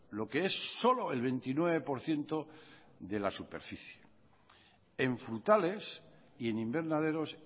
lo que es solo el veintinueve por ciento de la superficie en frutales y en invernaderos